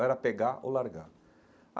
Era pegar ou largar.